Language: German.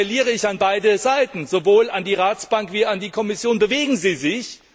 Und hier appelliere ich an beide Seiten, sowohl an den Rat als auch an die Kommission Bewegen Sie sich!